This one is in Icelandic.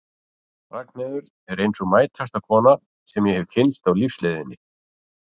Ragnheiður er ein sú mætasta kona sem ég hef kynnst á lífsleiðinni.